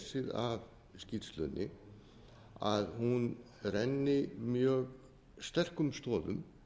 af skýrslunni að hún renni mjög sterkum stoðum